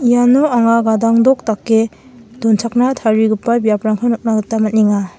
iano anga gadangdok dake donchakna tarigipa biaprangko nikna gita man·enga.